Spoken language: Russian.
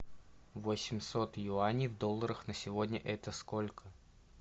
восемьсот юаней в долларах на сегодня это сколько